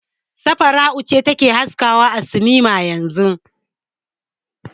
Safara'u ce ake haskawa a sinima yanzun.